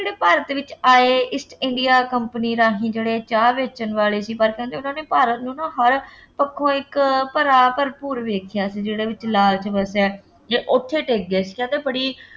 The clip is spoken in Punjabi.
ਜਿਹੜੇ ਭਾਰਤ ਵਿੱਚ ਆਏ East India company ਰਾਹੀਂ ਜਿਹੜੇ ਚਾਹ ਵੇਚਣ ਵਾਲੇ ਸੀ, ਪਰ ਕਹਿੰਦੇ ਉਹਨਾ ਭਾਰਤ ਨੂੰ ਨਾ ਹਰ ਪੱਖੋਂ ਇੱਕ ਭਰਾ ਭਰਪੂਰ ਵੇਖ਼ਿਆ ਸੀ, ਜਿਹਦੇ ਵਿੱਚ ਲਾਲਚ ਵਸਿਆ, ਜੇ ਉੱਥੇ ਟਿਕ ਗਏ ਸੀ, ਕਹਿੰਦੇ ਬੜੀ